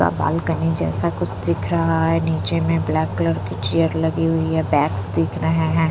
वह बालकनी जैसा कुछ दिख रहा है नीचे में ब्लैक कलर की चेयर लगी हुई है बैग्स दिख रहे हैं।